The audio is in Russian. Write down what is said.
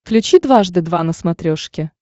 включи дважды два на смотрешке